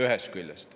Ühest küljest.